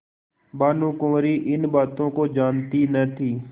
भानुकुँवरि इन बातों को जानती न थी